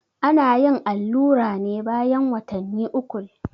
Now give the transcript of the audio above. ana yin allura ne bayan watanni ukul